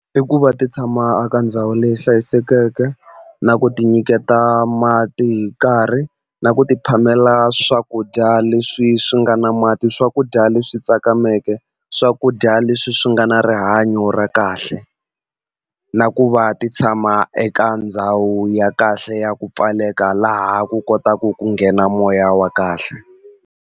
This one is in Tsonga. I ku va ti tshama eka ndhawu leyi hlayisekeke na ku ti nyiketa mati hi nkarhi na ku ti phamela swakudya leswi swi nga na mati swakudya leswi tsakameke swakudya leswi swi nga na rihanyo ra kahle na ku va ti tshama eka ndhawu ya kahle ya ku pfaleka laha ku kotaku ku nghena moya wa kahle.